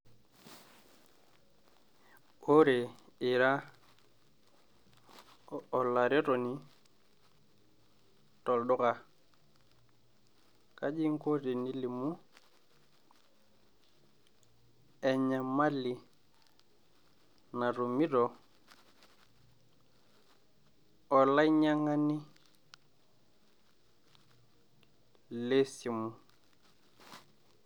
Wore iraa olaretoni tolduka kajii inko eninko pilimu enyamali natumito olainyang'ani, lesimu